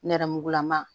Nɛrɛmugulama